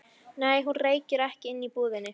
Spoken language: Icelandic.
Nei, hún reykir ekki inni í búðinni.